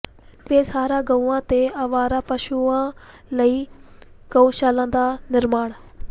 ਬੇਸਹਾਰਾ ਗਊਆਂ ਤੇ ਆਵਾਰਾ ਪਸ਼ੂਆਂ ਲਈ ਗਊਸ਼ਾਲਾ ਦਾ ਨਿਰਮਾਣ